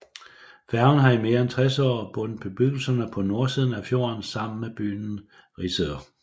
Færgen har i mere end 60 år bundet bebyggelserne på nordsiden af fjorden sammen med byen Risør